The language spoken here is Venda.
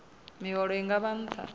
miholo i nga vha nṱha